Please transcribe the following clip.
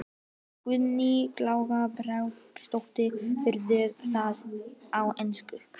Guðný Helga Herbertsdóttir: Verður það á ensku?